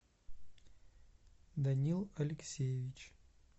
данил алексеевич